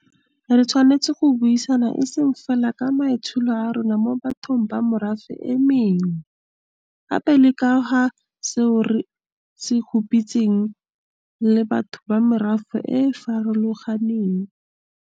Re tshwanetse go buisana e seng fela ka maitsholo a rona mo bathong ba merafe e mengwe, gape le ka ga seo re se huparetseng re le batho ba merafe e e farolo ganeng.